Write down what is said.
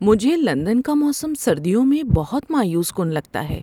مجھے لندن کا موسم سردیوں میں بہت مایوس کن لگتا ہے۔